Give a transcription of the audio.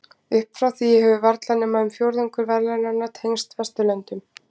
Upp frá því hefur varla nema um fjórðungur verðlaunanna tengst Vesturlöndum.